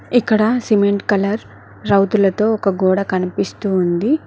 ఇక్కడ cement colour రౌతులతో ఒక గోడ కనిపిస్తుంది.